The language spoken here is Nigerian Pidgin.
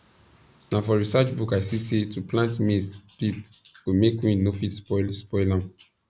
na for research book i see say to plant maize deep go make wind no fit spoil spoil am